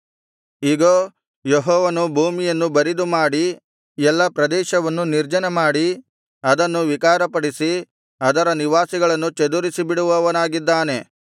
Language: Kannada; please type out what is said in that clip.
ಇಗೋ ಯೆಹೋವನು ಭೂಮಿಯನ್ನು ಬರಿದುಮಾಡಿ ಎಲ್ಲಾ ಪ್ರದೇಶವನ್ನು ನಿರ್ಜನಮಾಡಿ ಅದನ್ನು ವಿಕಾರಪಡಿಸಿ ಅದರ ನಿವಾಸಿಗಳನ್ನು ಚದುರಿಸಿಬಿಡುವವನಾಗಿದ್ದಾನೆ